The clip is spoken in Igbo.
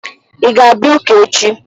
Ị ga-abịa ụka echi?